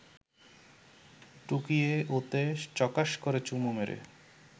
টুকিয়ে ওতে চকাশ করে চুমু মেরে